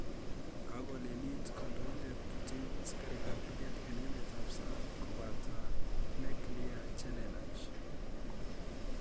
Kakoleliit Kandoindet Putin Asikarik ap luget eng emeet ap sang kopataa nikilia chelelach